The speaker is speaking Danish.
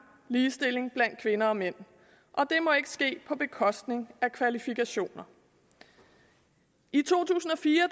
ligestilling blandt kvinder og mænd det må ikke ske på bekostning af kvalifikationer i to tusind og fire